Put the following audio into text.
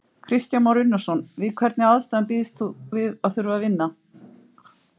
Kristján Már Unnarson: Við hvernig aðstæður býst þú við að þurfa að vinna?